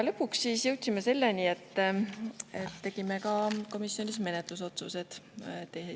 Lõpuks jõudsime selleni, et tegime komisjonis menetlusotsused.